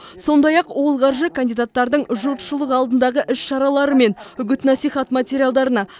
сондай ақ ол қаржы кандидаттардың жұртшылық алдындағы іс шаралары мен үгіт насихат материалдарына